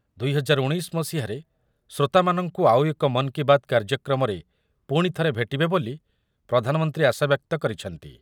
ଦୁଇ ହଜାର ଉଣୈଶି ମସିହାରେ ଶ୍ରୋତାମାନଙ୍କୁ ଆଉ ଏକ ମନ୍ କି ବାତ୍ କାର୍ଯ୍ୟକ୍ରମରେ ପୁଣି ଥରେ ଭେଟିବେ ବୋଲି ପ୍ରଧାନମନ୍ତ୍ରୀ ଆଶାବ୍ୟକ୍ତ କରିଛନ୍ତି ।